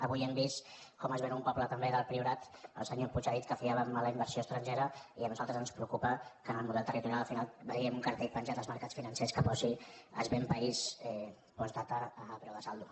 avui hem vist com es ven un poble també del priorat el senyor puig ha dit que fiàvem a la inversió estrangera i a nosaltres ens preocupa que en el model territorial al final vegem un cartell penjat als mercats financers que posi es ven país postdata a preu de saldo